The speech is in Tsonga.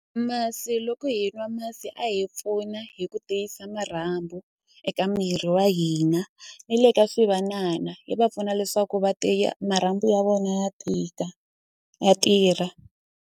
Masi loko hi nwa masi a hi pfuna hi ku tiyisa marhambu eka miri wa hina ni le ka swivanana yi va pfuna leswaku va tiya marhambu ya vona ya tika ya tirha.